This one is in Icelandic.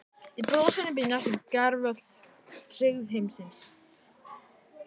Í brosinu býr næstum gervöll hryggð heimsins.